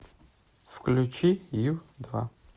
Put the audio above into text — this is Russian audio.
включи ю два